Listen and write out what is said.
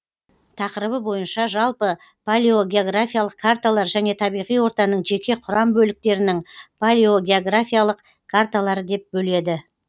тақырыбы бойынша жалпы палеогеографиялық карталар және табиғи ортаның жеке құрам бөліктерінің палеогеографиялық карталары деп бөледі